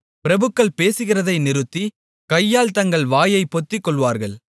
பிரபுக்கள் பேசுகிறதை நிறுத்தி கையால் தங்கள் வாயைப் பொத்திக்கொள்வார்கள்